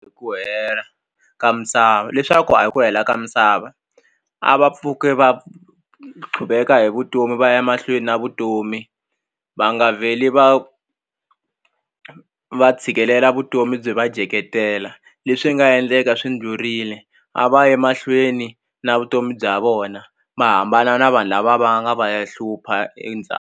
Ku hela ka misava leswaku a hi ku hela ka misava a va pfuki va tlhuveka hi vutomi va ya mahlweni na vutomi va nga vheli va va tshikelela vutomi byi va dyeketela leswi nga endleka swi dlurile a va yi mahlweni na vutomi bya vona va hambana na vanhu lava va nga va ya hlupha .